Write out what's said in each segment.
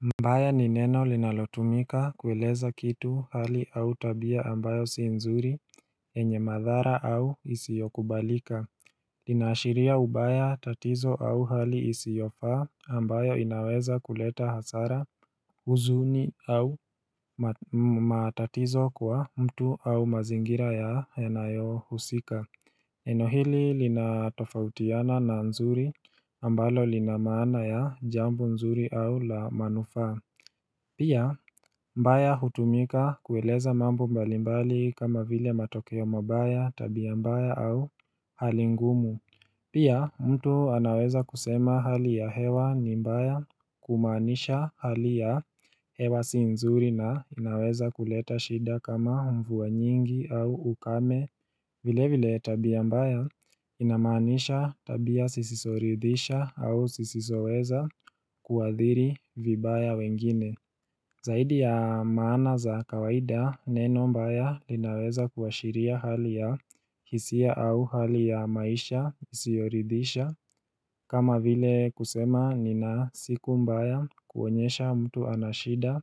Mbaya ni neno linalotumika kueleza kitu, hali au tabia ambayo si nzuri yenye madhara au isiokubalika Linaashiria ubaya tatizo au hali isiyofaa ambayo inaweza kuleta hasara huzuni au matatizo kwa mtu au mazingira yanayohusika Neno hili linatofautiana na nzuri ambalo linamaana ya jambo nzuri au la manufaa Pia mbaya hutumika kueleza mambo mbalimbali kama vile matokeo mabaya tabia mbaya au hali ngumu Pia mtu anaweza kusema hali ya hewa ni mbaya kumaanisha hali ya hewa si nzuri na inaweza kuleta shida kama mvua nyingi au ukame vile vile tabia mbaya inamaanisha tabia zisizoridhisha au zisizoweza kuathiri vibaya wengine Zaidi ya maana za kawaida, neno mbaya linaweza kuashiria hali ya hisia au hali ya maisha isiyoridhisha kama vile kusema nina siku mbaya, kuonyesha mtu ana shida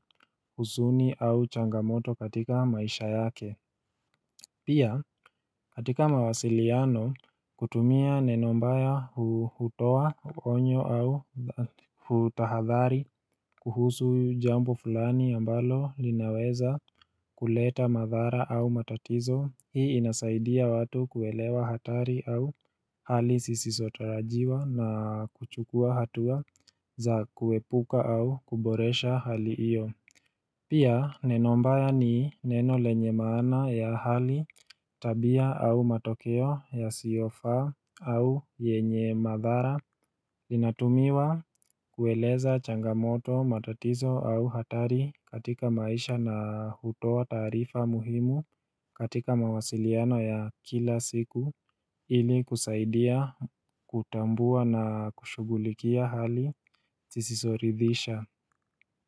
huzuni au changamoto katika maisha yake. Pia, katika mawasiliano, kutumia neno mbaya hutoa onyo au hutahadhari kuhusu jambo fulani ambalo linaweza kuleta madhara au matatizo, hii inasaidia watu kuelewa hatari au hali zisizotarajiwa na kuchukua hatua za kuepuka au kuboresha hali hiyo. Pia neno mbaya ni neno lenye maana ya hali, tabia au matokeo yasiofaa au yenye madhara Inatumiwa kueleza changamoto matatizo au hatari katika maisha na hutoa taarifa muhimu katika mawasiliano ya kila siku ili kusaidia kutambua na kushughulikia hali zisizoridhisha.